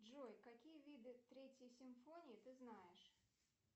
джой какие виды третьей симфонии ты знаешь